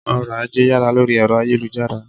Ọ̀RỌ̀-ajé yára lórí ẹ̀rọ ayélujára.